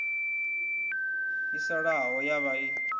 yo salaho ya vhaa i